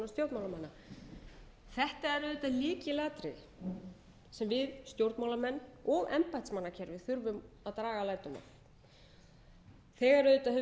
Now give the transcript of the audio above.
er auðvitað lykilatriði sem við stjórnmálamenn og embættismannakerfið þurfum að draga lærdóm af þegar auðvitað hefur verið sett vinna í gagn við